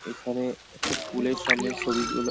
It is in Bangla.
এখানে একটা স্কুল এর সামনে ছবি গুলো-- ।